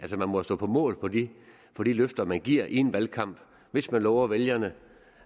man må jo stå på mål for de løfter man giver i en valgkamp hvis man lover vælgerne